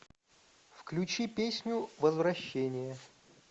включи песню возвращение